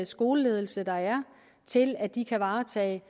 skoleledelse der er til at de kan varetage